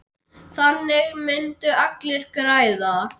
Þannig myndu allir græða.